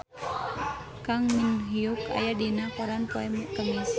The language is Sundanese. Kang Min Hyuk aya dina koran poe Kemis